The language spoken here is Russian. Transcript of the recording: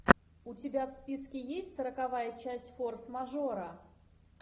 у тебя в списке есть сороковая часть форс мажора